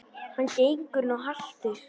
Hann gengur nú haltur.